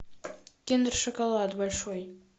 киндер шоколад большой